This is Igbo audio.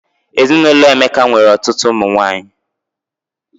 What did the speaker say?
Ezinụlọ Emeka nwere ọtụtụ ụmụ nwanyị